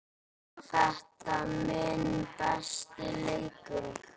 Var þetta minn besti leikur?